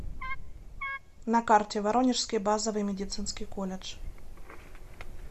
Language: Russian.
на карте воронежский базовый медицинский колледж